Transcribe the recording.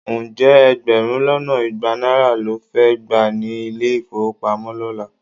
Ǹjẹ́ ẹgbẹ̀rún lọ́nà igba náírà ló fẹ́ gbà ní ilé-ìfówopamọ́ lọ́la?